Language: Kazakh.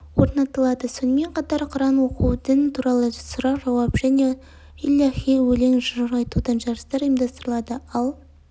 орнатылады сонымен қатар құран оқу дін туралы сұрақ-жауап және иләһи өлең-жыр айтудан жарыстар ұйымдастырылады ал